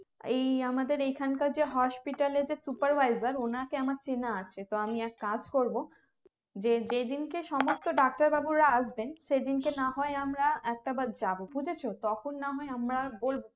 এই আমাদের এখানকার যে hospital এ যে supervisor ওনাকে আমার চেনে আছে তো আমি এক কাজ করবো যে যেদিনকে সমস্ত ডাক্তার বাবুরা আসবেন সেদিনকে না হয় আমরা একটা বার যাবো বুঝেছো তখন না হয় আমরা বলবো